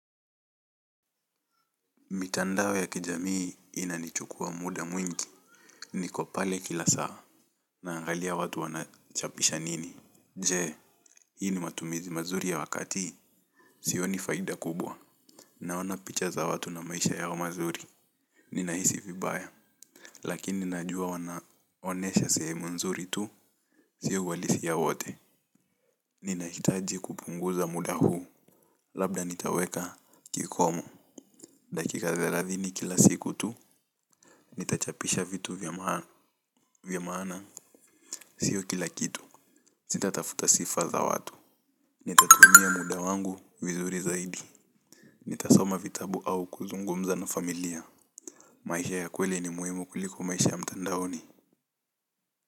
Mitandao ya kijamii ina nichukua muda mwingi niko pale kila saa naangalia watu wanachapisha nini. Je, hii ni matumizi mazuri ya wakati, sioni faida kubwa. Naona picha za watu na maisha yao mazuri, ninahisi vibaya. Lakini najua wanaonesha sehemu nzuri tu, siyo uwalisia wote. Ninahitaji kupunguza muda huu, labda nitaweka kikomo. Dakika thelathini kila siku tu, nitachapisha vitu vya maana. Vyamaana, siyo kila kitu. Sitatafuta sifa za watu. Nitatumia muda wangu, wizuri zaidi. Nitasoma vitabu au kuzungumza na familia. Maisha ya kweli ni muhimu kuliko maisha ya mtandaoni.